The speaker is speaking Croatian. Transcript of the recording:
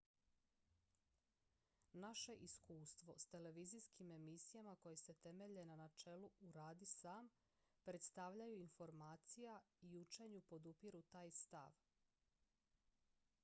naše iskustvo s televizijskim emisijama koje se temelje na načelu uradi sam predstavljanju informacija i učenju podupiru taj stav